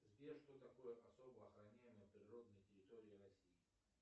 сбер что такое особо охраняемые природные территории россии